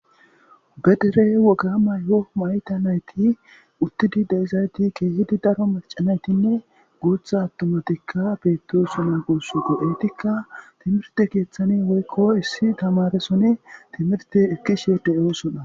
Ba dere woga mayua mayida nayiti utidi deizayiti kehidi daro maca nayitine guta atummatika betosona gusikko iteka timirte keeththan woyikko issi tamaresoni timirte ekishe deosona.